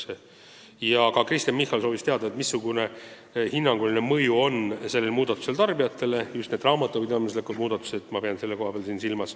Veel soovis Kristen Michal teada, missugune hinnanguline mõju on nendel raamatupidamislikel muudatusel tarbijatele.